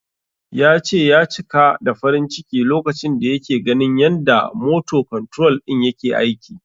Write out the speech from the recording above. Ya ce, ya cika da farin ciki lokacin da yake ganin yanda "motor control" din yake aiki.